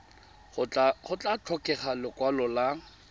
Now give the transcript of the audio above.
go tla tlhokega lekwalo la